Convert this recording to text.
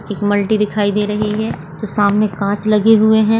एक मल्टी दिखाई दे रही है और सामने काँच लगे हुए हैं।